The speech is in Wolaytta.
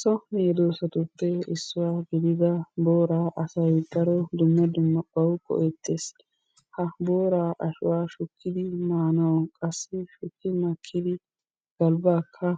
So medossatuppe issuwa gidida booraa asay daro dumma dumma bawu go'ettees. Ha booraa ashuwa shukki maanawu qassi shukki makkidi galbbaakka